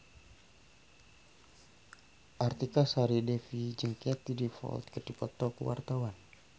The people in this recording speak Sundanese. Artika Sari Devi jeung Katie Dippold keur dipoto ku wartawan